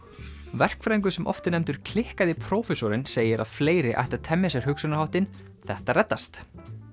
verkfræðingur sem oft er nefndur klikkaði prófessorinn segir að fleiri ættu að temja sér hugsunarháttinn þetta reddast